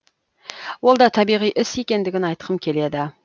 ол да табиғи іс екендігін айтқым келеді